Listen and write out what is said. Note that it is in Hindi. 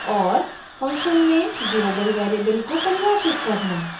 फंक्शऩ में global variable को परिभाषित करना